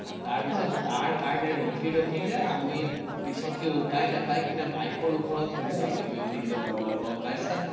তাৰ তাৰ কাৰণে ৰখি ৰখি যে আমি পিছতকে উপাই নাপাই কেনে bike ৰ ওপৰত শুইছো, আমি দুই-তিনজন লগৰ গম পাইছানে।